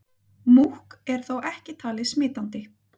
Múkk er þó ekki talið smitandi.